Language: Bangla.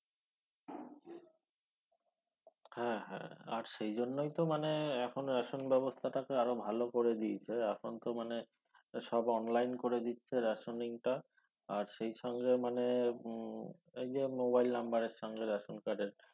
হ্য হ্য আর সেই জন্যই তো মানে এখন ration ব্যবস্থাটাকে আরো ভালো করে দেয়েছে এখন তো মানে সব অনলাইন করে দিচ্ছে rationing টা আর সেই সঙ্গে মানে উম এই যে mobile number এর সঙ্গে ration card এর